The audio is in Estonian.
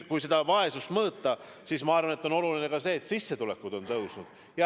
Kui vaesust mõõta, siis ma arvan, et on oluline ka see, et sissetulekud on tõusnud.